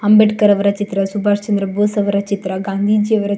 ಅಂಬೇಡ್ಕರ ಅವ್ರ ಚಿತ್ರ ಸುಭಾಶ್ಚಂದ್ರ ಬೋಸ್ ಅವರ ಚಿತ್ರ ಗಾಂಧೀಜಿಯ ಚಿತ್ --